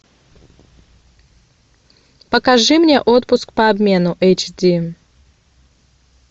покажи мне отпуск по обмену эйч ди